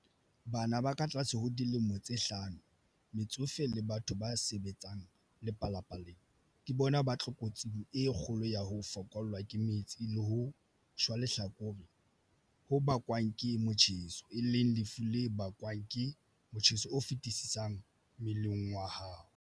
Bana ba katlase ho dilemo tse hlano, metsofe le batho ba sebetsang lepalapaleng ke bona ba tlokotsing e kgolo ya ho fokollwa ke metsi le ho shwa lehlakore ho bakwang ke motjheso, e leng lefu le bakwang ke motjheso o feti-sisang mmeleng wa hao.